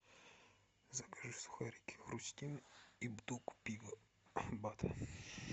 закажи сухарики хрустим и бутылку пива бад